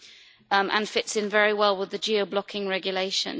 It also fits in very well with the geo blocking regulation.